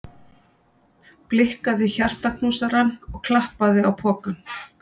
Blikkaði hjartaknúsarann og klappaði á pokann.